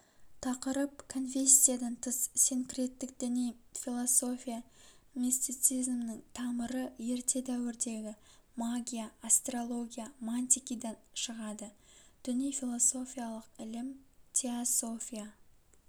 тақырып конфессиядан тыс синкреттік діни философия мистицизмнің тамыры ерте дәуірдегі магия астрология мантикидан шығады діни-философиялық ілім-теософия